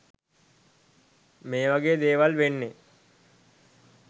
මේවගේ දේවල් වෙන්නෙ